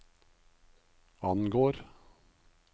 angår